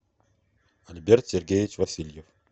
альберт сергеевич васильев